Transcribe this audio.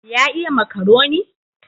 Ya iya makaroni?